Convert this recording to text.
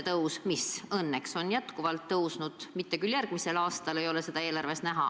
Edaspidi on see õnneks veel tõusnud, ehkki järgmise aasta eelarves seda näha ei ole.